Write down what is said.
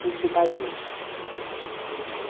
Sítio do pai dele. É